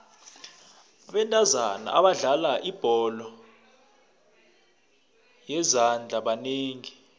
abentazana abadlala ibholo yezandla banengi